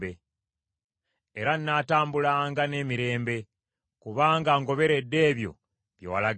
Era nnaatambulanga n’emirembe, kubanga ngoberedde ebyo bye walagira.